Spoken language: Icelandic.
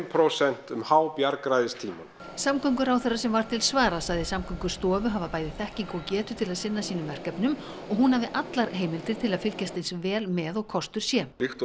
prósent um hábjargræðistímann samgönguráðherra sem var til svara sagði Samgöngustofu hafa bæði þekkingu og getu til að sinna sínum verkefnum og hún hafi allar heimildir til að fylgjast eins vel með og kostur sé líkt og